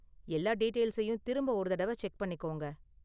எல்லா டீடெயில்ஸையும் திரும்ப ஒரு தடவ செக் பண்ணிக்கோங்க.